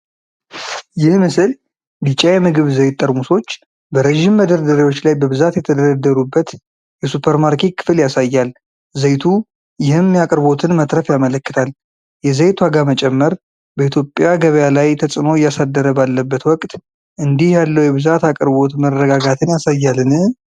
ይህ ምስል ቢጫ የምግብ ዘይት ጠርሙሶች በረጅም መደርደሪያዎች ላይ በብዛት የተደረደሩበት የሱፐርማርኬት ክፍል ያሳያል። ዘይቱ ይህም የአቅርቦትን መትረፍ ያመለክታል። የዘይት ዋጋ መጨመር በኢትዮጵያ ገበያ ላይ ተጽዕኖ እያሳደረ ባለበት ወቅት፣ እንዲህ ያለው የብዛት አቅርቦት መረጋጋትን ያሳያልን?